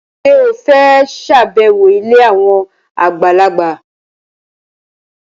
Ṣé o fẹ́ ṣàbẹ̀wọ̀ ilé àwọn àgbàlagbà?